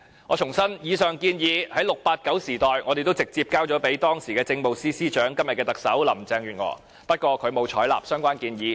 我重申，以上建議在 "689" 時代我們已直接交給時任政務司司長，即今日的特首林鄭月娥，不過她沒有採納相關建議。